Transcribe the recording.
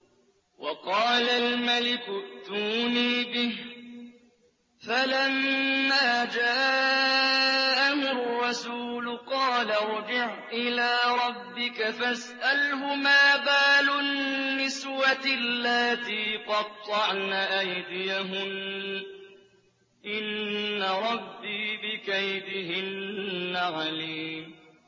وَقَالَ الْمَلِكُ ائْتُونِي بِهِ ۖ فَلَمَّا جَاءَهُ الرَّسُولُ قَالَ ارْجِعْ إِلَىٰ رَبِّكَ فَاسْأَلْهُ مَا بَالُ النِّسْوَةِ اللَّاتِي قَطَّعْنَ أَيْدِيَهُنَّ ۚ إِنَّ رَبِّي بِكَيْدِهِنَّ عَلِيمٌ